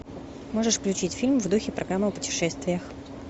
можешь включить фильм в духе программа о путешествиях